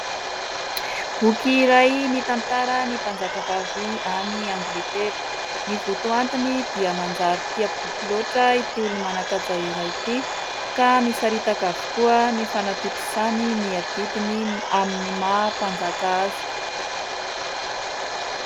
Boky iray mitantara ny mpanjakavavy any Angletera. Ny votoatiny dia manjary tia boky loatra ity olo-manankaja iray ity, ka misaritaka avokoa ny fanatontosany ny adidiny amin'ny maha mpanjaka azy.